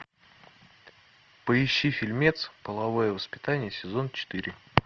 поищи фильмец половое воспитание сезон четыре